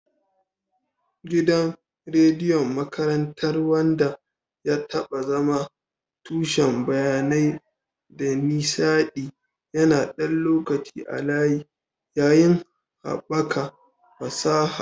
Gidan rediyon makarantar, wanda ya taɓa zama tushen bayanai da nishaɗi, yana ɗan lokaci a layi, yayin haɓaka fasaha